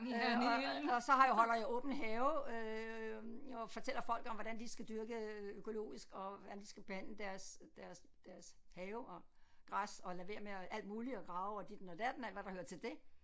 Øh og og så har jeg holder jeg åben have øh og fortæller folk om hvordan de skal dyrke økologisk og hvordan de skal behandle deres deres deres have og græs og lade være med alt muligt at grave og ditten og datten alt hvad der hører til det